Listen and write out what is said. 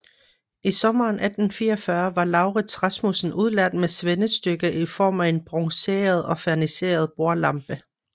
I sommeren 1844 var Lauritz Rasmussen udlært med svendestykke i form af en bronzeret og ferniseret bordlampe